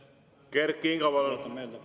Kert Kingo, palun!